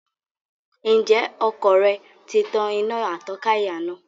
Ǹjẹ́ ọkọ̀ rẹ tí tan iná atọ́ka ìyànà?